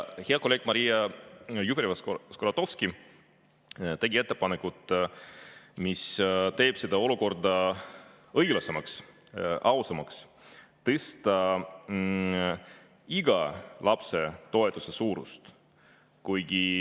Hea kolleeg Maria Jufereva-Skuratovski tegi ettepaneku, mis teeks seda olukorda õiglasemaks, ausamaks: tõsta iga lapse toetuse suurust.